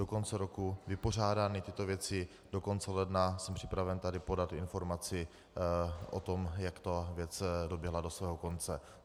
Do konce roku vypořádáme tyto věci, do konce ledna jsem připraven tady podat informaci o tom, jak ta věc doběhla do svého konce.